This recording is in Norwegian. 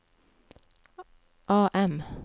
AM